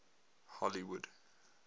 hollywood